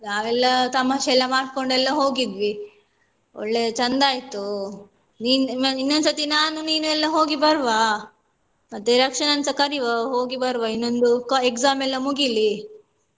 ನಾವೆಲ್ಲ ತಮಾಷೆ ಎಲ್ಲ ಮಾಡ್ಕೊಂಡೆಲ್ಲಾ ಹೋಗಿದ್ವಿ ಒಳ್ಳೆ ಚಂದ ಆಯ್ತು ನೀನ್ ಇನ್ನೊಂದು ಸರ್ತಿ ನಾನು ನೀನು ಎಲ್ಲ ಹೋಗಿ ಬರುವ ಮತ್ತೆ ರಕ್ಷನನ್ನುಸ ಕರಿವ ಹೋಗಿ ಬರುವ ಇನ್ನೊಂದು exam ಎಲ್ಲ ಮುಗಿಲಿ.